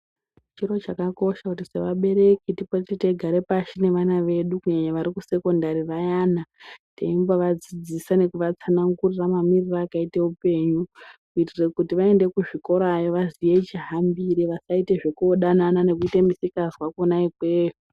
Chiro chakakosha kuti sevabereki tipote teigara pashi nevana vedu kunyanya vari kumasekondari vayana teimbovadzidzisa nekuvatsanangurira mamirire akaite upenyu kuitire kuti vaende kuzvikorayo vaziye chihambire vasaite zvekuodanana nekuite misikanzwa kwona ikweyo.